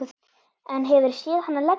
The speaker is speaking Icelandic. En hefurðu séð hana leggja?